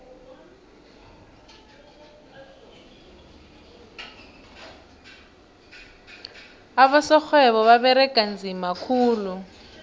abosorhwebo baberega nzima khulu